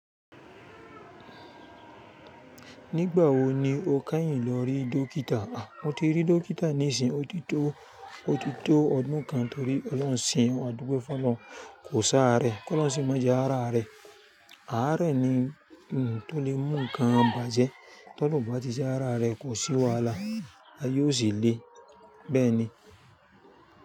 Nígbà wo ni o káyìn lọ rí dókítà? Mo ti rí dókítà nísìn, ó ti tó, ó ti tó ọdún kan torí ọlọ́ṣẹ́un àdúgbò fún Ọlọ́run kò sarẹ́. Kí Ọlọ́run sì máa jẹ́ a rí àrẹ. Àrẹ ni, hm, tó lè mú nǹkan bàjẹ́. Tó bàjẹ́ tí ara rẹ kò sì wàhálà, ayé ó sì le. Bẹ́ẹ̀ ni.